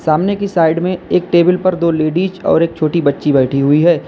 सामने की साइड में एक टेबल पर दो लेडिस और एक छोटी बच्ची बैठी हुई है।